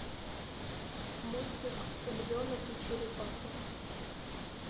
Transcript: мультик львенок и черепаха